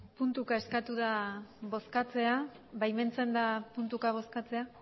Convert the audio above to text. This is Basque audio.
puntuka eskatu da bozkatzea baimentzen da puntuka bozkatzea